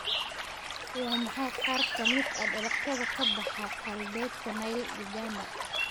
Waa maxay qaar ka mid ah dalagyada ka baxa galbeedka Nile Uganda.